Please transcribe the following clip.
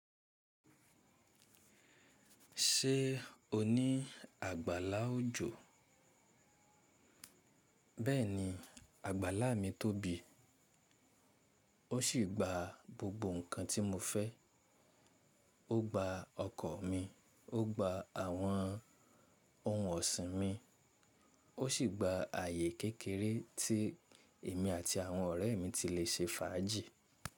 Ṣé o ní àgbàlá òjò? Bẹ́ẹ̀ni, àgbàlá mi tóbi, ó sì gba gbogbo nǹkan tí mo fẹ́. Ó gba ọkọ̀ mi, ó gba àwọn ohun ọ̀sìn mi, ó sì gba ààyè kékeré tí èmi àti àwọn ọ̀rẹ́ mi ti lè ṣe fàájì.